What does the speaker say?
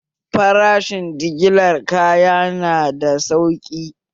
Farashen jigilar kaya na da sauƙi